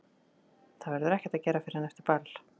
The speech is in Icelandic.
Það verður ekkert að gera fyrr en eftir ball.